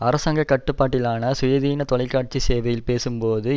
அரசாங்க கட்டுப்பாட்டிலான சுயாதீன தொலைக்காட்சி சேவையில் பேசும்போது